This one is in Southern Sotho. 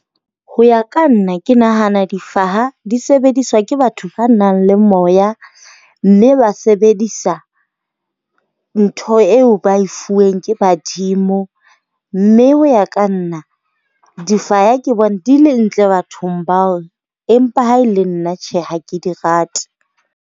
Ho ya ka nna, ke nahana difaha di sebediswa ke batho ba nang le moya mme ba sebedisa ntho eo ba e fuweng ke badimo. Mme ho ya ka nna difaya ke bone di le ntle bathong bao. Empa ha e le nna tjhe, ha ke di rate.